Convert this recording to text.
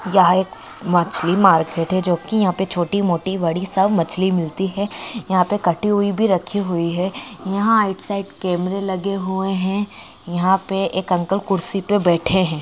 हां एक मछली मार्केट है जो की यहां पर छोटी-मोटी बड़ी सब मछली मिलती है यहां पर कटे हुए भी रखी है यहां राइट साइड कैमरा लगे हुए हैं यहां पर एक अंकल कुर्सी पर बैठे हैं|